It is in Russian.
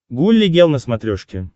гулли гел на смотрешке